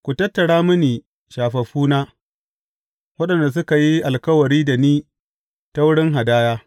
Ku tattara mini shafaffuna, waɗanda suka yi alkawari da ni ta wurin hadaya.